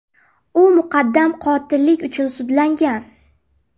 U muqaddam qotillik uchun sudlangan.